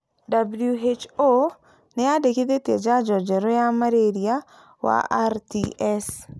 WHO nĩ yendekithĩtie njajo njerũ ya malaria wa RTS.